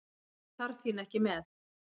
Ég þarf þín ekki með.